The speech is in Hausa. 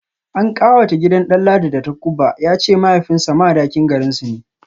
An kawata gidan Danladi da takubba, ya ce mahaifinsa Madakin garinsu ne